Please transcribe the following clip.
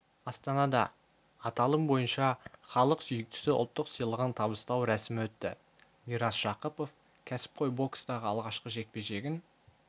астанада аталым бойынша халық сүйіктісі ұлттық сыйлығын табыстау рәсімі өтті мирас жақыпов кәсіпқой бокстағы алғашқы жекпе-жегін